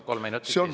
Kolm minutit lisaks.